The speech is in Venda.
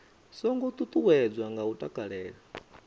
songo ṱuṱuwedzwa nga u takalela